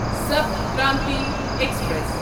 Sapt Kranti express